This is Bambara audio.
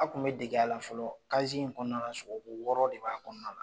A tun bɛ dege a la fɔlɔ in kɔnɔna na sɔgɔko wɔɔrɔ de b'a kɔnɔna na.